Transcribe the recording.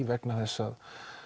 vegna þess að